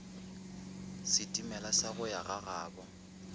setimela sa go ya gagabo